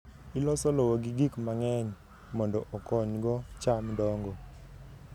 Iloso lowo gi gik mang'eny mondo okonygo cham dongo.